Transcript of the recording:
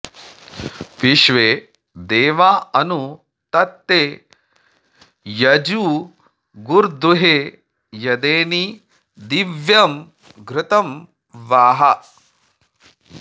विश्वे॑ दे॒वा अनु॒ तत्ते॒ यजु॑र्गुर्दु॒हे यदेनी॑ दि॒व्यं घृ॒तं वाः